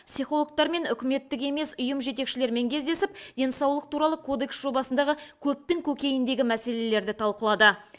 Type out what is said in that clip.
психологтар мен үкіметтік емес ұйым жетекшілерімен кездесіп денсаулық туралы кодекс жобасындағы көптің көкейіндегі мәселелерді талқылады